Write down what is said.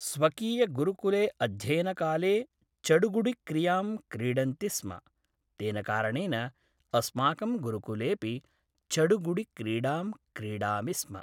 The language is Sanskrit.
स्वकीयगुरुकुले अध्ययनकाले चडुगुडिक्रीडां क्रीडन्ति स्म तेन कारणेन अस्माकं गुरुकुलेऽपि चडुगुडिक्रीडां क्रीडामि स्म